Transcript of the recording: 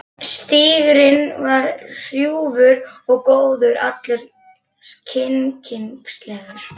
Stígurinn var hrjúfur og gróður allur kyrkingslegur.